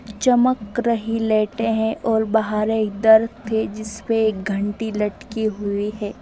चकम रही लाइटे है और बाहर इधर तेज इसमें एक घंटी लटकी हुई है।